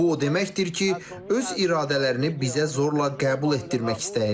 Bu o deməkdir ki, öz iradələrini bizə zorla qəbul etdirmək istəyirlər.